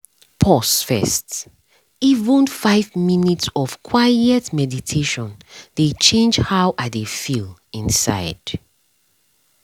pause first— even five minutes of quiet meditation dey change how i dey feel inside